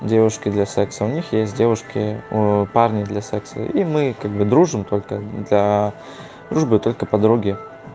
девушки для секса у них есть девушки о парни для секса и мы как бы дружим только для дружбы только подруги